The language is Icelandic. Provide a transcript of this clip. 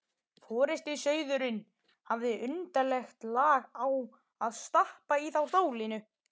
Forystusauðurinn hafði undarlegt lag á að stappa í þá stálinu.